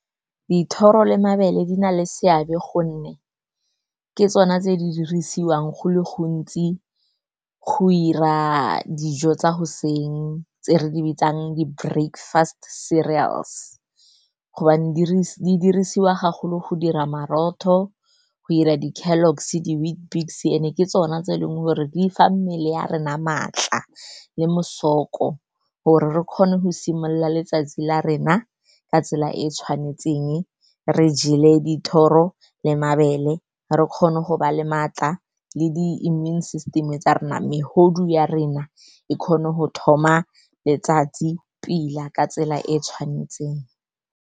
Dithoro le mabele di na le seabe gonne ke tsone tse di dirisiwang go le gontsi go 'ira dijo tsa goseng tse re di bitsang di-breakfast cereals, gobane di dirisiwa go dira morotho, go 'ira di-Kellogs, di-Weet bix, and-e ke tsona tse eleng gore di fa mmele ya rena maatla le mosoko gore re kgone go simolola letsatsi la rena ka tsela e e tshwanetseng. Re jele dithoro le mabele, re kgone go ba le maatla le the immune system e tsa rona, megodu ya rena e kgone go thoma letsatsi pila ka tsela e e tshwanetseng.